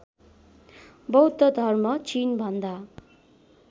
बौद्ध धर्म चिनभन्दा